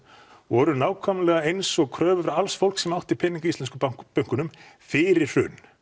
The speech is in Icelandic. voru nákvæmlega eins og kröfur alls fólks sem átti peninga í íslenskum bönkunum fyrir hrun